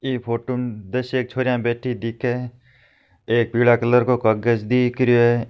ई photo में दसयेक छोरिया बेठी दिखे है एक पिला कलर को कागज दिख रहियो है।